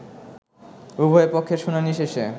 উভয় পক্ষের শুনানি শেষে